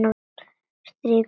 Strýk um háls hans.